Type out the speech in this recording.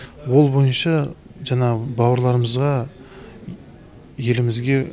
ол бойынша жанағы бауырларымызға елімізге